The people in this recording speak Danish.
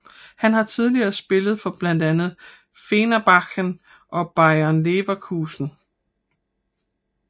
Han har tidligere spillet for blandt andet Fenerbahce og Bayer Leverkusen